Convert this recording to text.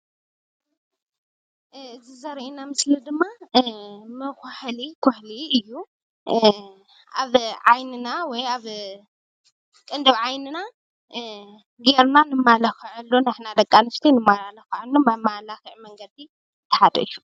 እዚ ዘርእየና ምስሊ ድማ መኹሓሊ ኩሕሊ እዩ፡፡ ኣብ ዓይንና ወይ ኣብ ቅንድብ ዓይንና ጌርና ንማላኸዐሉ ንሕና ደቂ ኣንስትዮ ንመላኸዐሉ መመላከዒ መንገዲ እቲ ሓደ እዩ፡፡